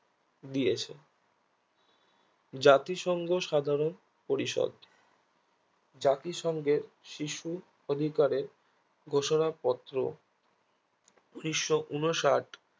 দিয়েছে জাতিসংঘ সাধারণ পরিষদ জাতিসংঘের শিশু অধিকারে ঘোষণা পত্র উনিশশো ঊনষাট